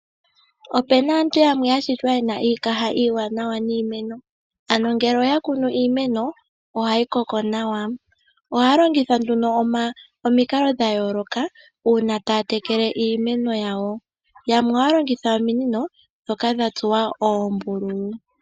Opena aantu yamwe yashitwa yena iikaha iiwanawa niimeno. Ano ngele yakunu iimeno ohayi koko nawa. Ohaya longitha nduno omikalo dhayooloka, uuna taya tekele iimeno yawo. Yamwe ohaya longitha ominino dhoka dha tsuwa oombululu.